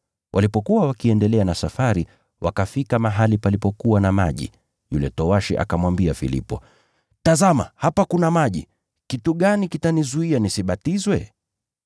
Walipokuwa wakiendelea na safari wakafika mahali palipokuwa na maji, yule towashi akamuuliza Filipo, “Tazama, hapa kuna maji. Kitu gani kitanizuia nisibatizwe?” [